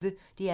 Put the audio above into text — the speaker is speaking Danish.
DR P1